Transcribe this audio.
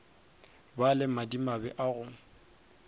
ba le madimabe a go